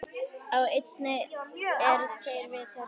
Á eynni eru tveir vitar.